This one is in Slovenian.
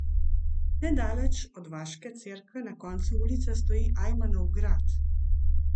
Nedaleč od vaške cerkve na koncu ulice stoji Ajmanov grad.